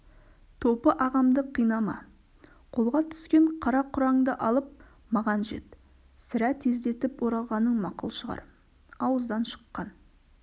топы ағамды қинама қолға түскен қара-құраңды алып маған жет сірә тездетіп оралғаның мақұл шығар ауыздан шыққан